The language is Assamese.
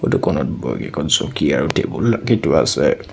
ফটোখনত কেইখন চকী আৰু টেবুল ৰাখি থোৱা আছে।